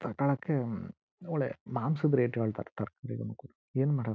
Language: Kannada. ತಕೊಳಕ್ಕೆ ಮೂಳೆ ಮಾಂಸದ್ ರೇಟ್ ಹೇಳತ್ತಿರತ್ತರೆ ಬೇಗ ಮಕ್ಕ್ಳು ಏನ್ ಮಾಡೋದು.